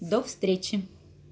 до встречи